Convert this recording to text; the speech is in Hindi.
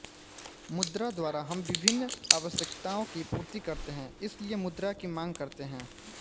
मुद्रा द्वारा हम विभिन्न आवष्यकताओं की पूर्ति करते हैं इसलिए मुद्रा की मांग करते है